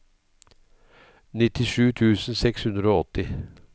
nittisju tusen seks hundre og åtti